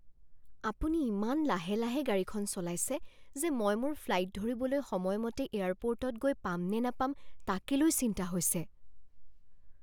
আপুনি ইমান লাহে লাহে গাড়ীখন চলাইছে যে মই মোৰ ফ্লাইট ধৰিবলৈ সময়মতে এয়াৰপোৰ্টত গৈ পাম নে নাপাম তাকে লৈ চিন্তা হৈছে।